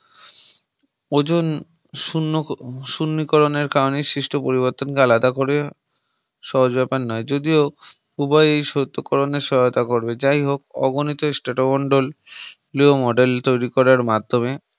ozone শুন্যিকরনের কারনে সৃষ্ট পরিবর্তনকে আলাদা করে সহজ বেপার নয় যদিও উভয়েই সত্যিকরণের সহায়তা করবে যাই হোক অগণিত Strato মন্ডল New model তৈরী করার মাধ্যমে